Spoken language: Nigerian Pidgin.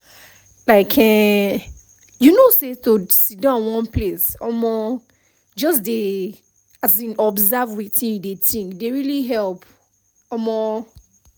like[um]you know say to sidon one place um just dey um observe wetin you dey think dey really help um